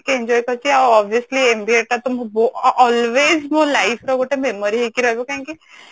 ଟିକେ Enjoy କରିଛି ଆଉ obviously MBA ଟା ତ ବହୁତ always ମୋ life ର ଗୋଟେ memory ହେଇକି ରହିବ କାହିଁକି